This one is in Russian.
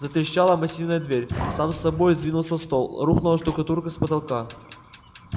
затрещала массивная дверь сам собой сдвинулся стол рухнула штукатурка с потолка